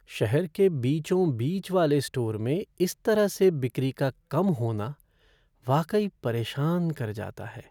शहर के बीचों बीच वाले स्टोर में इस तरह से बिक्री का कम होना वाकई परेशान कर जाता है।